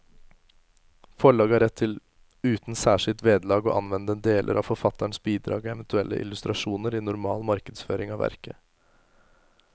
Forlaget har rett til uten særskilt vederlag å anvende deler av forfatterens bidrag og eventuelle illustrasjoner i normal markedsføring av verket.